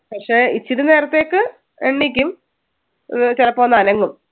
പക്ഷെ ഇച്ചിരി നേരത്തേക്ക് എണീക്കും അഹ് ചിലപ്പോ ഒന്ന് അനങ്ങും.